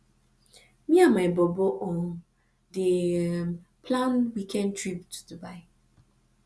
me and my bobo um dey plan weekend trip to dubai